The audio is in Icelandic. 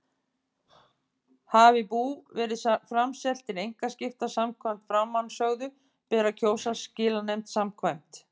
Hafi bú verið framselt til einkaskipta samkvæmt framansögðu ber að kjósa skilanefnd samkvæmt